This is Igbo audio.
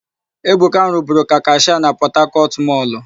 Ebuka rụburu ka kashịa na Pọtakọtụ mọlụ.